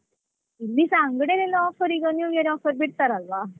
ಇಲ್ಲಿಸಾ ಅಂಗ್ಡೀಯಲೆಲ್ಲ offer ಈಗ new year offer ಬಿಡ್ತಾರಲ್ವಾ.